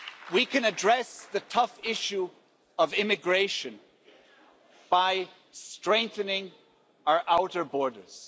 We can address the tough issue of immigration by strengthening our outer borders.